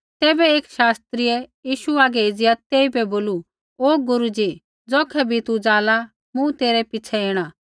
तैबै एकी शास्त्रियै यीशु हागै एज़िया तेइबै बोलू ओ गुरू ज़ी ज़ौखै भी तू ज़ाला मूँ तेरै पिछ़ै ऐणा